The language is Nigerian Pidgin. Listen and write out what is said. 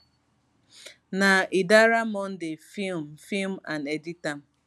na idara monday film film and edit am